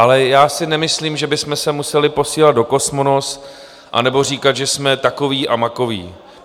Ale já si nemyslím, že bychom se museli posílat do Kosmonos anebo říkat, že jsme takoví a makoví.